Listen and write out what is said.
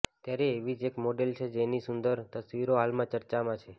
ત્યારે એવી જ એક મોડેલ છે કે જેની સુંદર તસવીરો હાલમાં ચર્ચામાં છે